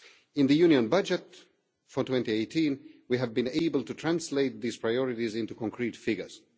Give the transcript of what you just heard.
In the Union budget for 2018 we have been able to translate these priorities into concrete figures.